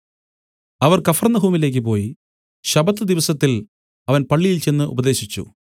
അവർ കഫർന്നഹൂമിലേക്ക് പോയി ശബ്ബത്ത് ദിവസത്തിൽ അവൻ പള്ളിയിൽ ചെന്ന് ഉപദേശിച്ചു